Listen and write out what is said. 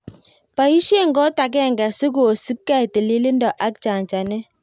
Boisien kot agenge sikosipkei tililindo ak chanjanet.